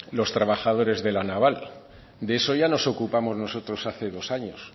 los trabajadores de la naval de eso ya nos ocupamos nosotros hace dos años